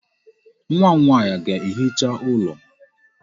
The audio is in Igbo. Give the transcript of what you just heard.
Nwa m nwaanyị ga-ehicha ụlọ.